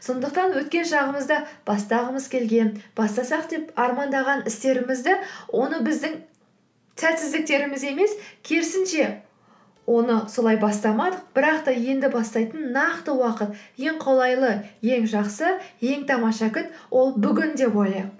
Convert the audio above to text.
сондықтан өткен шағымызда бастағымыз келген бастасақ деп армандаған істерімізді оны біздің сәтсіздіктеріміз емес керісінше оны солай бастамадық бірақ та енді бастайтын нақты уақыт ең қолайлы ең жақсы ең тамаша күн ол бүгін деп ойлайық